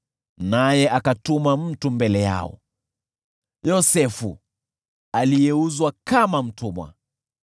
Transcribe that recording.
naye akatuma mtu mbele yao, Yosefu, aliyeuzwa kama mtumwa.